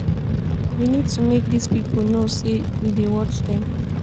we need to make dis people know say we dey watch dem